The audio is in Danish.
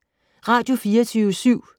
Radio24syv